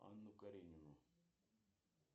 анну каренину